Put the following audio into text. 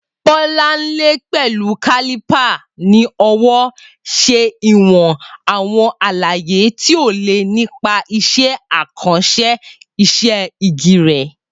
Bolanle, pẹ̀lú caliper ní ọwọ́, ṣe ìwọ̀n àwọn àlàyé tí ó le nípa iṣẹ́ àkànṣe iṣẹ́ igi rẹ̀.